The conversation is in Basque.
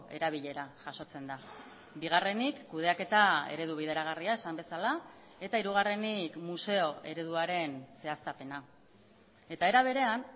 erabilera jasotzen da bigarrenik kudeaketa eredu bideragarria esan bezala eta hirugarrenik museo ereduaren zehaztapena eta era berean